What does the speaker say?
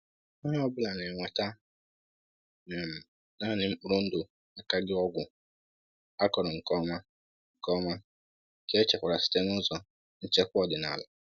Onye ọ bụla na-eweta um naanị mkpụrụ ndụ akaghị ọgwụ, akọrọ nke ọma, nke ọma, nke echekwara site n’ụzọ nchekwa ọdịnala.